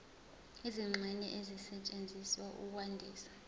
izingxenye ezisetshenziswa ukwandisa